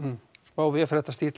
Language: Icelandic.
smá